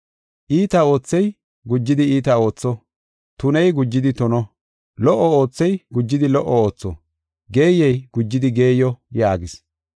Iita oothey gujidi iita ootho; tuney gujidi tuno. Lo77o oothey gujidi lo77o ootho; geeyey gujidi geeyo” yaagis.